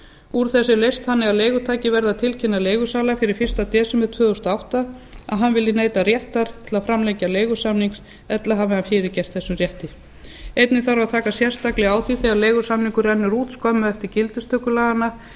úr þessu er leyst þannig að leigutaki verði að tilkynna leigusala fyrir fyrsta desember tvö þúsund og átta að hann vilji neyta réttar til að framlengja leigusamning ella hafi hann fyrirgert þessum rétti einnig þarf að taka sérstaklega á því þegar leigusamningur rennur út skömmu eftir gildistöku laganna